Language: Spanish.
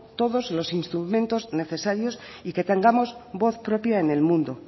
todos los instrumentos necesarios y que tengamos voz propia en el mundo